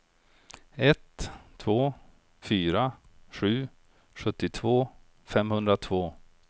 ett två fyra sju sjuttiotvå femhundratvå